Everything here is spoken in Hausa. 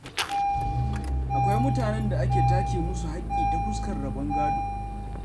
Akwai mutanen da ake take musu haƙƙi ta fuskar rabon gado.